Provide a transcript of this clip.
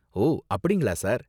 ஓ அப்படிங்களா, சார்.